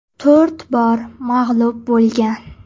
To‘rt bor mag‘lub bo‘lgan.